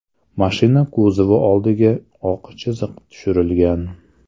Mashina kuzovi oldiga oq chiziq tushirilgan.